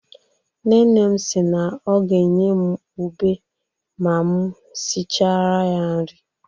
Nne nne m si na ọ ga-enye m ùbè ma m sịchara ya nri.